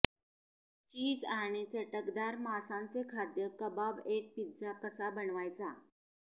चीज आणि चटकदार मांसाचे खाद्य कबाब एक पिझ्झा कसा बनवायचा